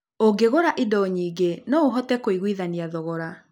Ũngĩgũra indo nyingĩ, no ũhote kũiguithania thogora.